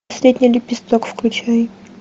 последний лепесток включай